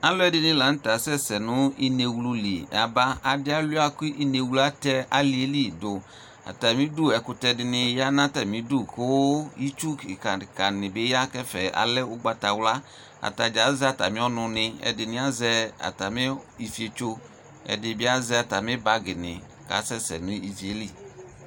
alʋɛdini lantɛasɛsɛ nʋ inɛwlʋ li yaba, adi awlia kʋ inɛwlʋ atɛ aliɛli dʋ, atami idʋ ɛkʋtɛ dini yanʋ atami idʋ kʋ itsʋ kikaa kikaa nibiyanʋ ɛƒɛ, alɛ ɔgbatawla, atagya azɛ atami ɔnʋ ni, ɛdini azɛ atami iƒitsɔ, ɛdini azɛatami bagi ni kʋ asɛsɛ nʋ iviɛli